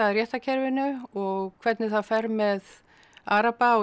réttarkerfinu og hvernig það fer með araba og